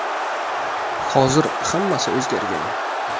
Hozir hammasi o‘zgargan.